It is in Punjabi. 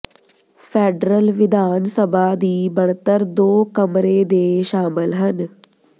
ਫੈਡਰਲ ਵਿਧਾਨ ਸਭਾ ਦੀ ਬਣਤਰ ਦੋ ਕਮਰੇ ਦੇ ਸ਼ਾਮਲ ਹਨ